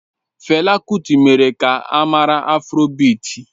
Fela kuti mere ka a mara afrobịti